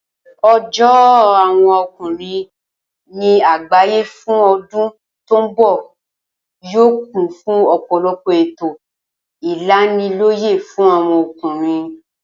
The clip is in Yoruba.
O̩jó̩ àwo̩n o̩kùnrin ní àgbàyé fún o̩dún tó ń bò̩ yóò kún fún ò̩pò̩lo̩pò̩ ètò ìlaniló̩yè̩ fún àwo̩n o̩kùnrin